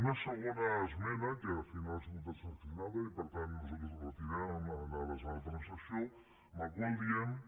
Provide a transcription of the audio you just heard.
una segona esmena que al final ha sigut transaccionada i per tant nosaltres la retirem en ares de la transacció en la qual diem que